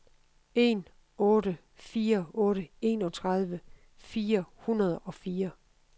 en otte fire otte enogtredive fire hundrede og fire